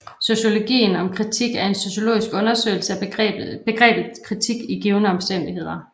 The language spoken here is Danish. Sociologien om kritik er en sociologisk undersøgelse af begrebet kritik i givne omstændigheder